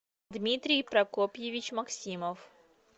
дмитрий прокопьевич максимов